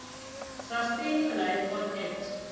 sustaining life on earth